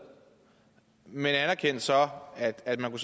men anerkendte så at man